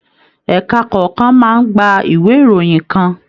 Ẹka kọọkan máa n gbà ìwé ìròyìn kàn.